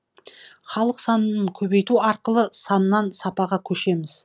халық санын көбейту арқылы саннан сапаға көшеміз